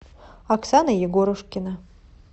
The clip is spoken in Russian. оксана егорушкина